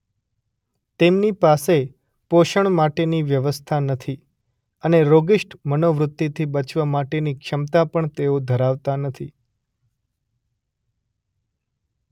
તેમની પાસે પોષણ માટેની વ્યવસ્થા નથી અને રોગિષ્ટ મનોવૃત્તિથી બચવા માટેની ક્ષમતા પણ તેઓ ધરાવતા નથી.